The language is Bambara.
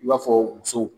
I b'a fɔ muso